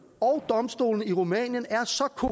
og domstolene i rumænien er